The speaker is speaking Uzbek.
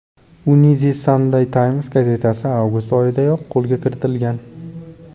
Uni The Sunday Times gazetasi avgust oyidayoq qo‘lga kiritgan.